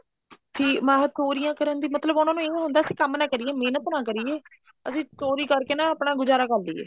ਕੀ ਮਹਾਂ ਚੋਰੀਆਂ ਕਰਨ ਦੀ ਮਤਲਬ ਉਹਨਾ ਨੂੰ ਏਵੇਂ ਹੁੰਦਾ ਵੀ ਅਸੀਂ ਕੰਮ ਨਾ ਕਰੀਏ ਮਹਿਨਤ ਨਾ ਕਰੀਏ ਅਸੀਂ ਚੋਰੀ ਕਰਕੇ ਨਾ ਆਪਣਾ ਗੁਜਾਰਾ ਕਰ ਲਈਏ